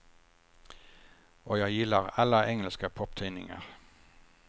Och jag gillar alla engelska poptidningar.